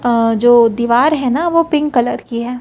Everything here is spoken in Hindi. अ जो दीवार है ना वो पिंक कलर की है।